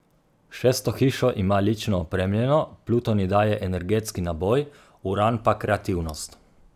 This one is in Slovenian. Šesto hišo ima lično opremljeno, Pluton ji daje energetski naboj, Uran pa kreativnost.